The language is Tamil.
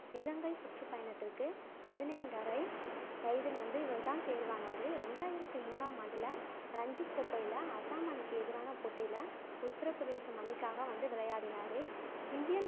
இலங்கைச் சுற்றுப் பயணத்திற்கு பதினைந்தரை வயதில் வந்து இவரு தான் தேர்வானாரு ரெண்டாயிரத்தி மூணாம் ஆண்டுல ரஞ்சிக் கோப்பையில அசாம் அணிக்கு எதிரான போட்டியில உத்தரப் பிரதேசம் அணிக்காக வந்து விளையாடினாரு. இந்தியன்